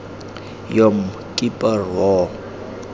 yom kippur war